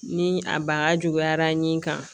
Ni a baga juguyara nin kan